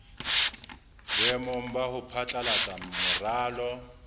boemong ba ho phatlalatsa moralo